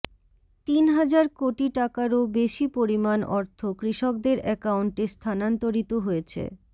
তিন হাজার কোটি টাকারও বেশি পরিমাণ অর্থ কৃষকদের অ্যাকাউন্টে স্থানান্তরিত হয়েছে